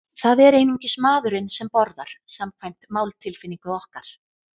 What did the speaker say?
Það er einungis maðurinn sem borðar, samkvæmt máltilfinningu okkar.